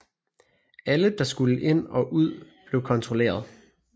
Alle der skulle ind og ud blev kontrolleret